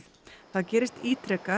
það gerist ítrekað